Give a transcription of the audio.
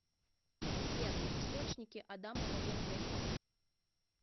сбер источники адамово яблоко